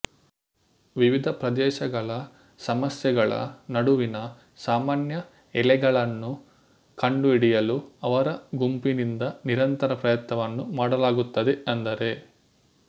ವಿವಿಧ ಪ್ರದೇಶಗಳ ಸಮಸ್ಯೆಗಳ ನಡುವಿನ ಸಾಮಾನ್ಯ ಎಳೆಗಳನ್ನು ಕಂಡುಹಿಡಿಯಲು ಅವರ ಗುಂಪಿನಿಂದ ನಿರಂತರ ಪ್ರಯತ್ನವನ್ನು ಮಾಡಲಾಗುತ್ತದೆ ಅಂದರೆ